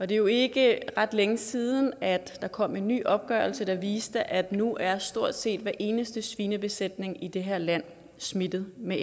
det er jo ikke ret længe siden at der kom en ny opgørelse der viste at nu er stort set hver eneste svinebesætning i det her land smittet med